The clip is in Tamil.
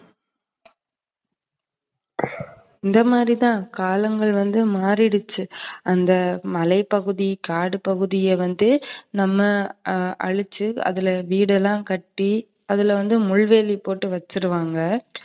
இந்தமாதிரி தான் காலங்கள் வந்து மாறிருச்சு. அந்த மலைப்பகுதி, காடுப்பகுதிய வந்து நம்ம அழிச்சு நம்ம வீடு எல்லாம் கட்டி அதுல வந்து முள்வேலி போட்டு வச்சுருவாங்க